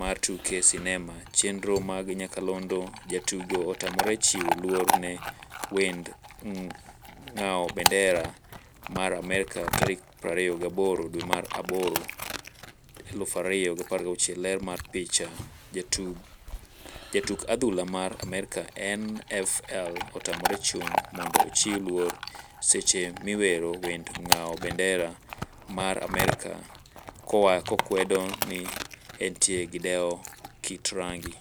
mar tuke sinema chenro mag nyakalondo Jatugo otamore chiwo luor ne wend ng'awo bandera mar Amerka tarik 28 dwe mar aboro, 2016. Ler mar picha, jatuk adhula mar Amerka NFL otamore chung' mondo ochiw luor seche miwero wend ng'awo bendera mar Amerka kokwedo ni entie gi dewo kit rangi.